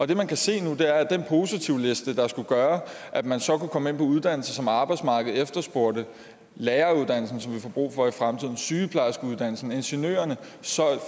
det man kan se nu er at den positivliste der skulle gøre at man så kunne komme ind på uddannelser som arbejdsmarkedet efterspurgte læreruddannelsen som vi får brug for i fremtiden sygeplejerskeuddannelsen ingeniørerne